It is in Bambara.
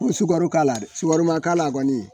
N be sukaro k'a la dɛ, sukaro ma k'a la kɔni